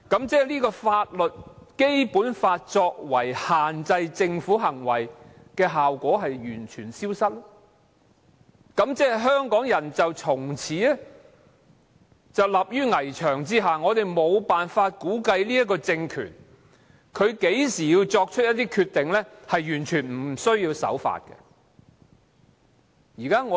即《基本法》限制政府行為的效果完全消失，香港人從此立於危牆之下，我們無法估計這個政權何時會作出完全無須守法的決定。